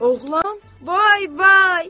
Oğlan, vay vay!